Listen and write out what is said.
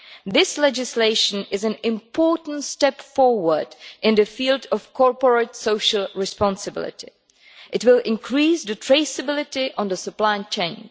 This legislation is an important step forward in the field of corporate social responsibility. It will increase traceability on the supply chain.